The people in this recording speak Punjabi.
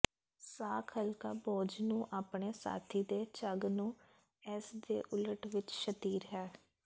ਸਾਕ ਹਲਕਾ ਬੋਝ ਨੂੰ ਆਪਣੇ ਸਾਥੀ ਦੇ ਝੱਗ ਨੂੰ ਇਸ ਦੇ ਉਲਟ ਵਿੱਚ ਸ਼ਤੀਰ ਹੈ